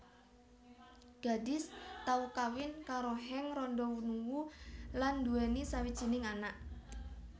Gadis tau kawin karo Henk Rondonuwu lan duweni sawijining anak